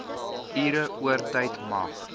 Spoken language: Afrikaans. ure oortyd mag